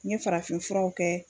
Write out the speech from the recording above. N ye farafinfuraw kɛ